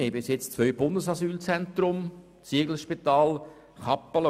Wir verfügen bisher über zwei Bundesasylzentren, das Zieglerspital und Kappelen.